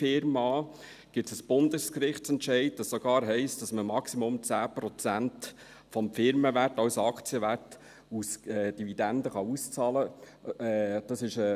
Dazu gibt es einen Bundesgerichtsentscheid, wonach man dann maximal 10 Prozent des Firmenwertes als Aktienwert aus Dividenden auszahlen kann.